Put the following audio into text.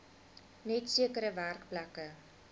net sekere werkplekke